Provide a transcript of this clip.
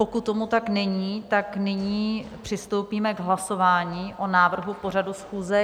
Pokud tomu tak není, tak nyní přistoupíme k hlasování o návrhu pořadu schůze.